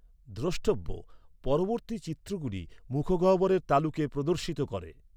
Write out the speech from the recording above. দ্রষ্টব্য, পরবর্তী চিত্রগুলি মুখগহ্বরের তালুকে প্রদর্শিত করে।